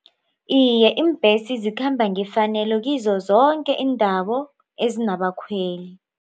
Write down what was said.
Iye iimbhesi zikhamba ngefanelo kizo zoke iindawo ezinabakhweli.